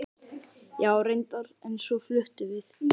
Já, reyndar, en svo fluttum við.